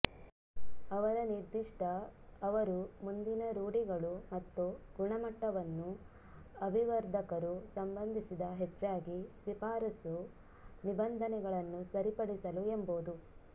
ಅವರ ನಿರ್ದಿಷ್ಟ ಅವರು ಮುಂದಿನ ರೂಢಿಗಳು ಮತ್ತು ಗುಣಮಟ್ಟವನ್ನು ಅಭಿವರ್ಧಕರು ಸಂಬಂಧಿಸಿದ ಹೆಚ್ಚಾಗಿ ಶಿಫಾರಸು ನಿಬಂಧನೆಗಳನ್ನು ಸರಿಪಡಿಸಲು ಎಂಬುದು